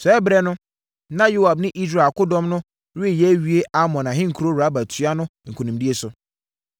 Saa ɛberɛ no, na Yoab ne Israel akodɔm no reyɛ awie Amon ahenkuro Raba tua no nkonimdie so.